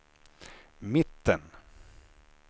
mitten